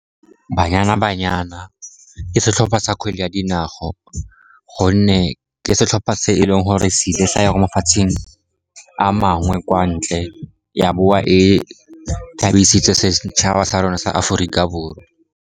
Banyana Banyana ke setlhopha sa kgwele ya dinao, gonne ke setlhopha se e leng gore se ile sa ya ko mafatsheng a mangwe kwa ntle ya boa e thabisitse setšhaba sa rona sa Aforika Borwa.